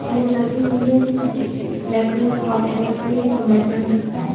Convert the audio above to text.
यहां पर एक लड़की खड़ी है जिसने ब्लैक कलर की टॉप पहन रखी है और बैग टांग रखा है।